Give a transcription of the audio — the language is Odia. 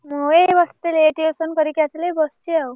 ମୁ ଏଇ ବସିଥିଲି ଏଇ tuition କରିକି ଆସିଲି ବସିଛି ଆଉ।